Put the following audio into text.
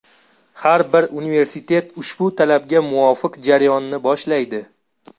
Har bir universitet ushbu talabga muvofiq jarayonni boshlaydi.